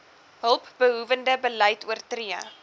hulpbehoewende beleid oortree